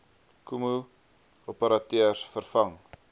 kmmo operateurs vervang